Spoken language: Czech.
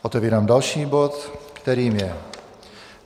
Otevírám další bod, kterým je